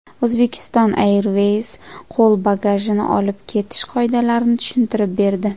Uzbekistan Airways qo‘l bagajini olib ketish qoidalarini tushuntirib berdi.